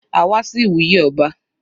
A wá sí ìwúyè ọba.